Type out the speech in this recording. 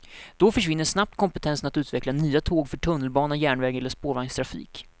Då försvinner snabbt kompetensen att utveckla nya tåg för tunnelbana, järnväg eller spårvagnstrafik.